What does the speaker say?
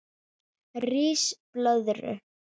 Ris blöðru